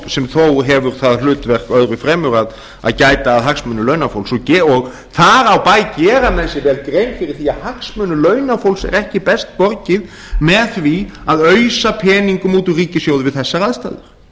sem þó hefur það hlutverk öðru fremur að gæta að hagsmunum launafólks og þar á bæ gera menn sér vel grein fyrir því að hagsmunum launafólks er ekki best borgið með því að ausa peningum út úr ríkissjóði við þessar aðstæður